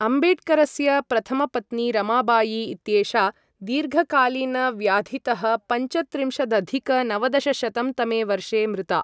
अम्बेड्करस्य प्रथमपत्नी रमाबाई इत्येषा दीर्घकालीनव्याधितः पञ्चत्रिंशदधिक नवदशशतं तमे वर्षे मृता।